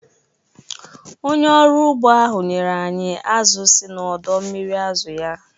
Onye ọrụ ugbo ahụ nyere anyị azụ̀ si n'ọdọ mmiri azụ̀ ya